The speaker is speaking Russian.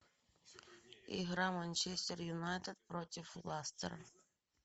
игра манчестер юнайтед против ластера